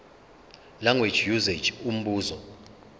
language usage umbuzo